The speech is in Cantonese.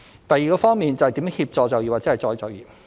第二方面，是如何協助就業或再就業。